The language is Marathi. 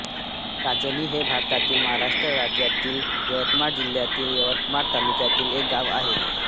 काजणी हे भारतातील महाराष्ट्र राज्यातील यवतमाळ जिल्ह्यातील यवतमाळ तालुक्यातील एक गाव आहे